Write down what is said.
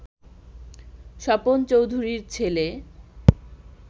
স্বপন চৌধুরীর ছেলে